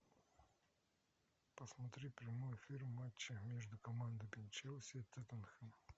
посмотри прямой эфир матча между командами челси тоттенхэм